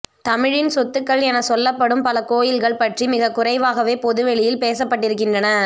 தமிழின் சொத்துக்கள் எனச் சொல்லப்படும் பல கோயில்கள் பற்றி மிகக்குறைவாகவே பொதுவெளியில் பேசப்பட்டிருக்கின்றன